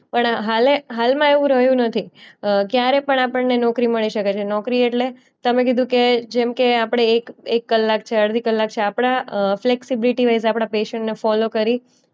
પણ હાલે હાલમાં એવું રહ્યું નથી અ ક્યારે પણ આપણે ને નોકરી મળી શકે છે. નોકરી એટલે તમે કીધું કે જેમ કે આપણે એક એક કલાક છે અડધી કલાક છે આપણા ફ્લેક્સિબિલિટીવાઇસ આપણા પૈશન ને ફોલો કરી